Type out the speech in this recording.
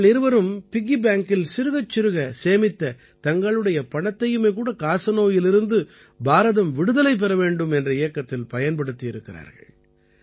இவர்கள் இருவரும் பிக்கி பேங்கில் சிறுகச் சிறுக சேமித்த தங்களுடைய பணத்தையுமே கூட காசநோயிலிருந்து பாரதம் விடுதலை பெற வேண்டும் என்ற இயக்கத்தில் பயன்படுத்தியிருக்கிறார்கள்